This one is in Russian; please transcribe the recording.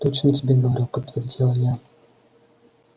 точно тебе говорю подтвердила я